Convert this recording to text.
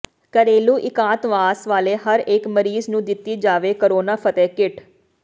ਘਰੇਲੂ ਇਕਾਂਤਵਾਸ ਵਾਲੇ ਹਰੇਕ ਮਰੀਜ਼ ਨੂੰ ਦਿੱਤੀ ਜਾਵੇ ਕਰੋਨਾ ਫਤਿਹ ਕਿੱਟ